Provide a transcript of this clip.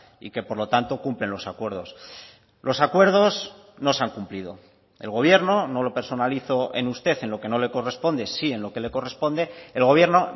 y que por lo tanto cumplen los acuerdos los acuerdos no se han cumplido el gobierno no lo personalizo en usted en lo que no le corresponde sí en lo que le corresponde el gobierno